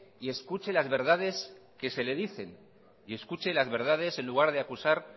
y escuche las verdades que se le dicen y escuche las verdades